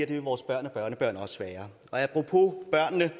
det vil vores børn og børnebørn også være apropos børnene